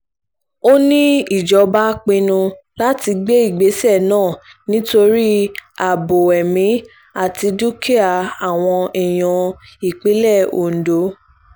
ó ní ìjọba pinnu láti gbé ìgbésẹ̀ náà nítorí ààbò ẹ̀mí àti dúkìá àwọn èèyàn ìpínlẹ̀ ondo